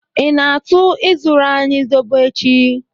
I na-atụ ịzụrụ anyị Zobo echi.